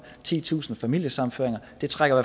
titusind familiesammenføringer og det trækker